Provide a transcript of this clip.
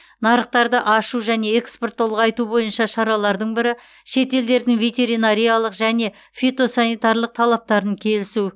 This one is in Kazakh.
нарықтарды ашу және экспортты ұлғайту бойынша шаралардың бірі шетелдердің ветеринарлық және фитосанитарлық талаптарын келісу